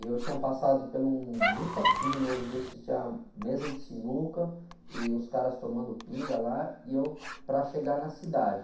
E eu tinha passado por um botequinho mesmo, tinha mesa de sinuca e os caras tomando pinga lá e eu para chegar na cidade.